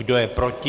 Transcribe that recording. Kdo je proti?